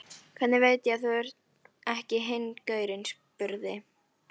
Hvernig veit ég að þú ert ekki hinn gaurinn, spurði